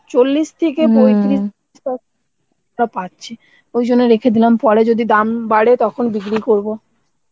চল্লিশ থেকে পাচ্ছি, ঐজন্যে রেখে দিলাম পরে যদি দাম বাড়ে তখন বিক্রি করব